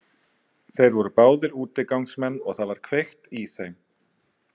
Þeir voru báðir útigangsmenn og það var kveikt í þeim.